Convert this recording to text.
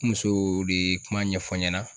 N musoo de ye kuma ɲɛfɔ n ɲɛna